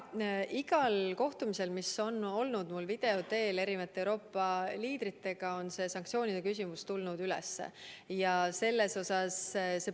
Igal kohtumisel, mis mul video teel Euroopa liidritega on olnud, on see sanktsioonide küsimus tulnud üles.